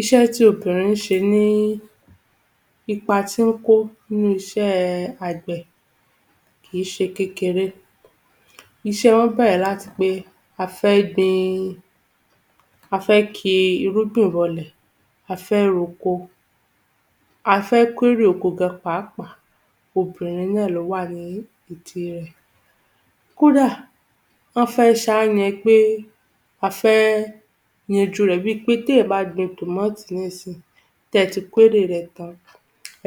Iṣẹ́ ti obìnrin ṣe ní, ipa tí ó kó nínú iṣẹ́ àgbẹ̀ kì í ṣe kékeré. Iṣẹ́ wọn bẹ̀rẹ̀ láti pé a fẹ́ gbin, a fẹ́ ki irúgbìn bọlẹ̀, a fẹ́ roko, a fẹ́ kó èrè oko gan-an pàápàá, obìnrin náà ni ó wà nídìí rẹ̀. Kódà wọn fẹ́ ṣá ni pé, a fẹ́ yanjú rẹ̀ bí pé tí èèyàn bá gbin tòmátì nísìnyí, tí ẹ ti kó èrè rẹ̀ tán,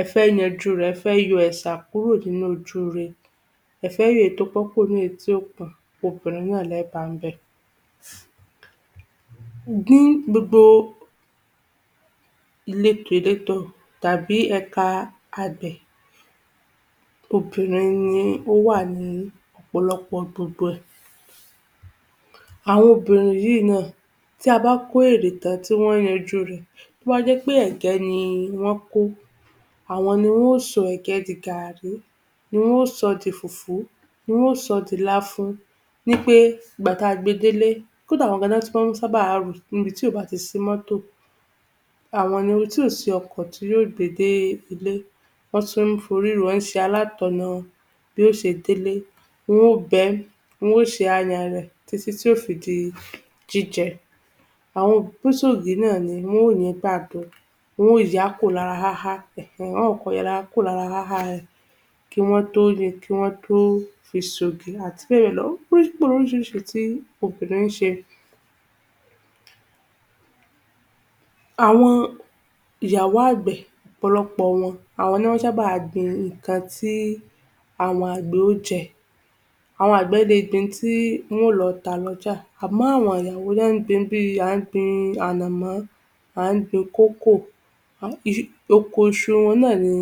ẹ fẹ́ yanjú rẹ̀, ẹ fẹ́ yọ ẹ̀sà kúrò nínú ojúre, ẹ fẹ́ yọ èyí tí ó pọ́n nínú èyí tí kò pọ́n, obìnrin náà ní ẹ bá bẹ̀. Ní gbogbo ìletò letò tàbí ẹ̀ka àgbẹ̀, obìnrin ní o wà ní ọ̀pọ̀lọpọ̀ gbogbo rẹ̀. Àwọn obìnrin yìí náà tí a bá kó èrè tán tí wọn yanjú rẹ̀ tí ó bá jẹ́ pé ẹ̀gẹ́ ni wọ́n kó, àwọn ni wọ́n ó sọ ẹ̀gẹ́ di gàárí, ni wọ́n ó sọ di fùfú, ni wọ́n ó sọ di láfún, ní pé ìgbà tí a gbé délé. kódà àwọn gan-an ni wọ́n tún máa sábà rù níbi tí kò bá sí mọ́tọ̀, tí kò sí ọkọ̀ tí yóò gbé délé. Wọ́n tún fi orí rù ú, wọ́n ṣe alátọ̀nà bí ó ṣe délé, wọ́n ó bẹ́, wọ́n ó ṣe àyàn rẹ̀ títí yóò fi di jíjẹ. Àwọn náà ní wọ́n yi ìgbàdo, wọ́n ó ya kúrò lára háhá,[um] wọ́n ó kọ́kọ́ ya kúrò lára haha rẹ̀ kí wọ́n tó yi, kí wọ́n tó fi ṣe ògì, àti bẹ́ẹ̀ bẹ́ẹ̀ lọ, ó pọ̀ lóríṣiríṣi tí obìnrin ṣe. Àwọn ìyàwó àgbẹ̀, ọ̀pọ̀lọpọ̀ wọn àwọ́n ni wọn sábà gbin nǹkan tí àwọn àgbẹ̀ ó jẹ, Àwọn àgbẹ̀ lé gbin ín tí wọn lọ ta lójà àmọ́ àwọn ìyàwó ni wọn gbin bí, a gbin bí ànàmọ́, a gbin kókò, um oko iṣu wọn náà ni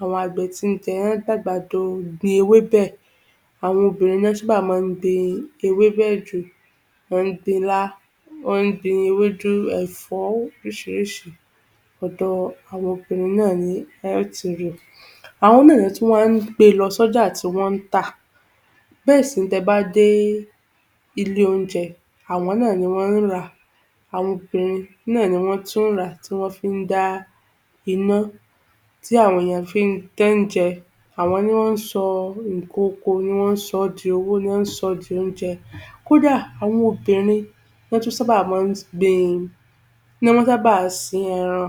àwọn àgbẹ̀ tí jẹ. Wọ́n a gbin àgbàdo, gbin ewébẹ̀, àwọn obìnrin ni wọn sábà máa gbin ewébẹ̀ jù, wọ́n gbin ilá, wọ́n gbin ewédú, ẹ̀fọ́, oríṣiríṣi, ọ̀dọ̀ àwọn obìnrin náà ní ẹ́ tí rí. Àwọn náà tún wá gbé lọ sí ọjà tí wọn ta bẹ́ẹ̀ sì ni tí ẹ bá dé ilé oúnjẹ, àwọn náà ni wọ́n rà á, àwọn obìnrin náà ni wọ́n tún rà tí wọn fi dá iná tí àwọn èèyàn fí, tí wọn ń jẹ, àwọn ni wọ́n sọ nǹkan oko ni wọ́n sọ di owó, ni wọ́n sọ di oúnjẹ. Kódà àwọn obìnrin ni wọ́n tún sábà máa gbin, wọ́n máa sábà sin ẹran,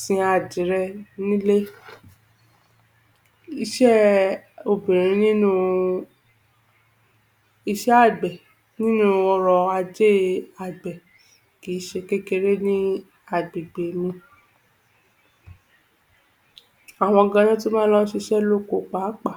sin adìẹ ní ilé. Iṣẹ́ obìnrin nínú iṣẹ́ àgbẹ̀ nínú ọ̀rọ̀-ajé àgbẹ̀ kì í ṣe kékeré ní agbègbè mi. Àwọn gan ni wọn tún máa lọ ṣiṣẹ́ lóko pàápàá.